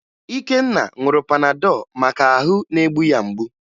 Ikenna ṅụrụ Panadọ maka na ahụ na-egbu ya mgbu